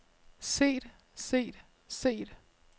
set set set